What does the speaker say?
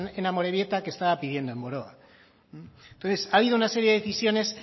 en amorebieta que estaba pidiendo en boroa entonces ha habido una serie de decisiones